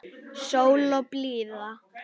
Sól og blíða.